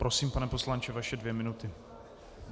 Prosím, pane poslanče, vaše dvě minuty.